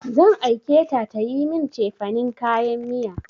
Zan aike ta tayi min cefanin kayan miya.